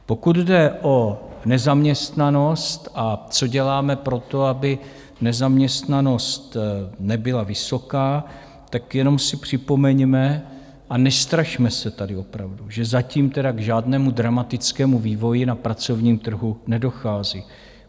Pokud jde o nezaměstnanost a co děláme pro to, aby nezaměstnanost nebyla vysoká, tak jenom si připomeňme - a nestrašme se tady opravdu - že zatím tedy k žádnému dramatickému vývoji na pracovním trhu nedochází.